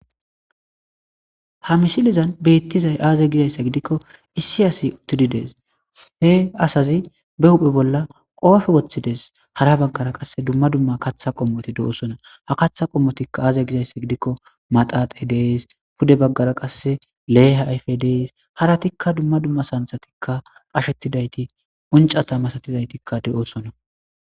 Ha misilizan beettizay aaze gizayssa gidikko issi asi uttididees he asazi be huphe bolla qoofe woththides hara baggara qasse dumma dumma katha qommoti de7oosona ha katha qommotikka aaze gizayssa gidikko maxaaxe dees pude baggara qasse leeha ayfe dees hara tikka dumma dumma santhatikka qashetidayti uncata masatidaytikka de'oosona.